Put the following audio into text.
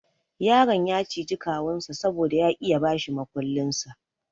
Yaron ya ciji kawunsa saboda ya ki ya bashi mukullinsa.